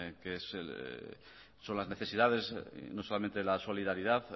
son las necesidades no solamente la solidaridad